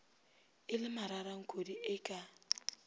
e le mararankodi e ka